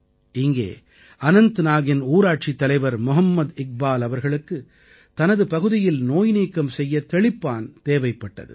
இங்கே அனந்தநாகின் ஊராட்சித் தலைவர் மொஹம்மத் இக்பால் அவர்களுக்கு தனது பகுதியில் நோய் நீக்கம் செய்ய தெளிப்பான் தேவைப்பட்டது